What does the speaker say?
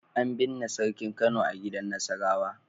An binne Sarkin Kano a gidan Nasarawa.